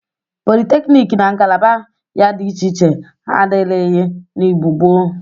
Politeknik na ngalaba ya dị iche iche adịrịghị n'Igbo gboo.